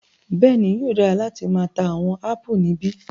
Bẹẹni, yóò dara lati maa ta awọn apù nibi